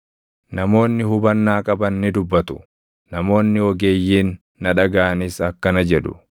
“Namoonni hubannaa qaban ni dubbatu; namoonni ogeeyyiin na dhagaʼanis akkana jedhu;